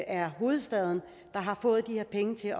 er hovedstaden der har fået de her penge til